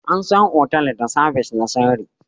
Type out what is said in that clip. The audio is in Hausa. An san otal da sabis na sirri